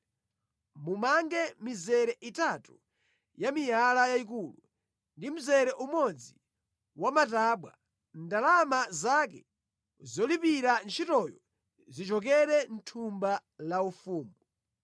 Mumange mizere itatu ya miyala yayikulu ndi mzere umodzi wa matabwa, ndalama zake zolipirira ntchitoyo zichokere mʼthumba la ufumu.